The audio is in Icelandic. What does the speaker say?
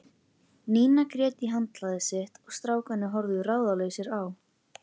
Nína grét í handklæðið sitt og strákarnir horfðu ráðalausir á.